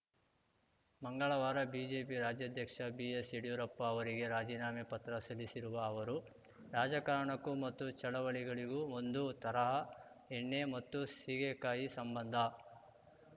ಮಂಗಳವಾರ ಬಿಜೆಪಿ ರಾಜ್ಯಾಧ್ಯಕ್ಷ ಬಿಎಸ್‌ಯಡ್ಯೂರಪ್ಪ ಅವರಿಗೆ ರಾಜೀನಾಮೆ ಪತ್ರ ಸಲ್ಲಿಸಿರುವ ಅವರು ರಾಜಕಾರಣಕ್ಕೂ ಮತ್ತು ಚಳವಳಿಗಳಿಗೂ ಒಂದು ತರಹ ಎಣ್ಣೆ ಮತ್ತು ಸೀಗೆಕಾಯಿ ಸಂಬಂಧ